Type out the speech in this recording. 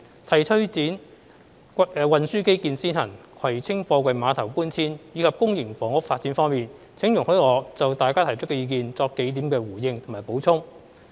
就推展運輸基建先行、葵青貨櫃碼頭搬遷及公營房屋發展方面，請容許我就大家提出的意見作數點回應及補充。